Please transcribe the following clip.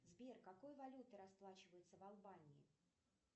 сбер какой валютой расплачиваются в албании